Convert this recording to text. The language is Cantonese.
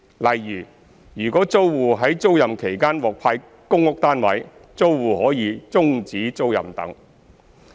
例如，如果租戶在租賃期間獲派公屋單位，租戶可以終止租賃等。